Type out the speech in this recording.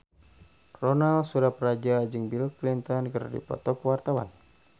Ronal Surapradja jeung Bill Clinton keur dipoto ku wartawan